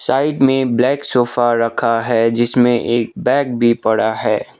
Side में black sofa रखा है जिसमें एक बैग भी पड़ा है।